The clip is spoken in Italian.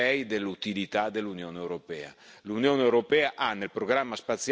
può convincere gli europei dell'utilità dell'Unione europea.